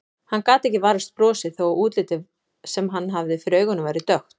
Hann gat ekki varist brosi þó að útlitið sem hann hafði fyrir augunum væri dökkt.